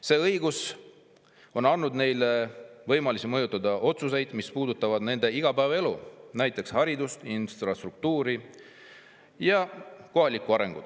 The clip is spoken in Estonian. See õigus on andnud neile võimaluse mõjutada otsuseid, mis puudutavad nende igapäevaelu, näiteks haridust, infrastruktuuri ja kohalikku arengut.